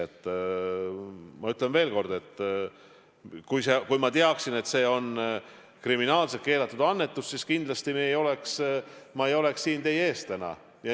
Ma ütlen veel kord: kui ma teaksin, et see on kriminaalselt keelatud annetus, siis kindlasti ma ei oleks siin teie ees täna.